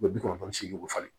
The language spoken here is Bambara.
U bɛ bi kɔnɔntɔn ni seegin falen